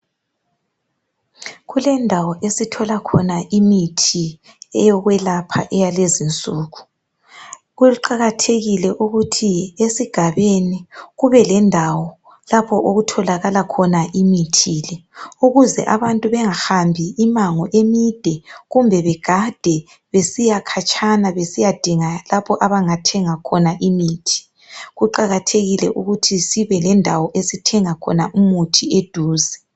kulendawo esithola imithi yokulapha yakulezinsuku kuqakathekile ukuthi esigabeni kube lendawo lapha abantu abathenga imithi le ukuze abantu bengahambi imango emide kumbe begade besiyakhatshana bedinga lapha abangathenga khona imithi kuqakathekile ukuthi sibe lendawo esithenga khona eduze.